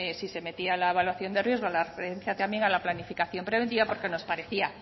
si se metía la evaluación de riesgos la referencia también a la planificación preventiva porque nos parecía